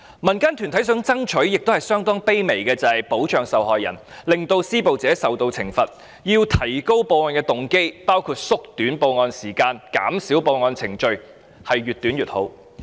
民間團體希望爭取的要求相當卑微，就是必須保障受害人，令施暴者受到懲罰，故此，必須提高報案動機，包括縮短報案時間、減少報案程序，時間越短越好。